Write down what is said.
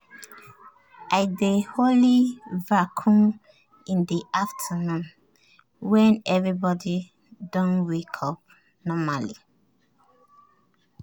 i dey only vacuum in the afternoon when everybody don wake up normally.